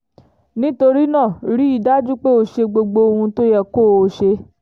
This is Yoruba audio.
nítorí náà rí i dájú pé o ṣe gbogbo ohun tó yẹ kó o ṣe